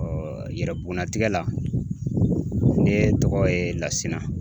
yɛrɛ bugunnatigɛ la ne tɔgɔ ye Lasina